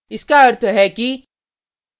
इस का अर्थ है कि